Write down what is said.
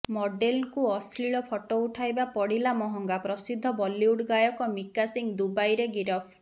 ମଡେଲଙ୍କୁ ଅଶ୍ଳୀଳ ଫଟୋ ପଠାଇବା ପଡିଲା ମହଙ୍ଗା ପ୍ରସିଦ୍ଧ ବଲିଉଡ୍ ଗାୟକ ମିକା ସିଂହ ଦୁବାଇରେ ଗିରଫ